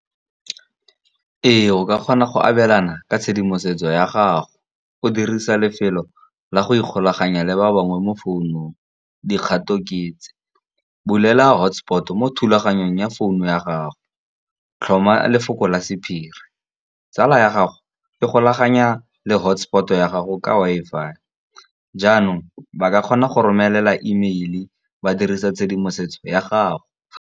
Ee, o ka kgona go abelana ka tshedimosetso ya gago o dirisa lefelo la go ikgolaganya le ba bangwe mo founung. Dikgato ketse, bulela hotspot mo thulaganyong ya founu ya gago, tlhoma lefoko la sephiri. Tsala ya gago e golaganya le hotspot ya gago ka Wi-Fi, jaanong ba ka kgona go romelela email ba dirisa tshedimosetso ya gago.